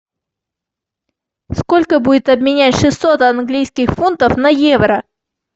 сколько будет обменять шестьсот английских фунтов на евро